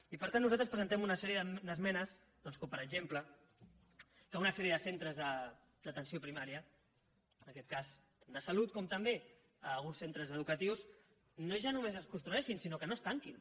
i per tant nosaltres presentem una sèrie d’esmenes doncs com per exemple perquè una sèrie de centres d’atenció primària en aquest cas de salut com també alguns centres educatius no ja només es construeixin sinó que no es tanquin